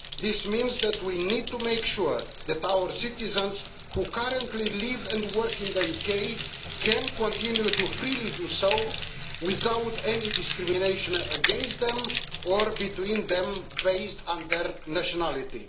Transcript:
This means that we need to make sure that our citizens who currently live and work in the UK can continue to freely do so without any discrimination against them or between them based on their nationality.